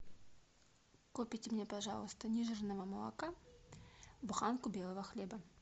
купите мне пожалуйста нежирного молока буханку белого хлеба